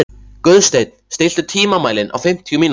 Guðsteinn, stilltu tímamælinn á fimmtíu mínútur.